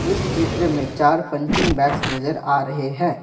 इस चित्र में चार पंचिंग बैग्स नजर आ रहे हैं।